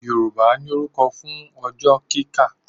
Yorùbá ní orúkọ fún ọjọ́ kíkà